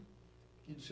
E dos